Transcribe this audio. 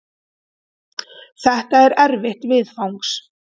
Þetta er erfitt viðfangs.